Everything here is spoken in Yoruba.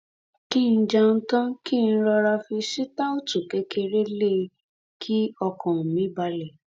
kí n jẹun tán kí n rọra fi sítáòtú kékeré lé e kí ọkàn mi balẹ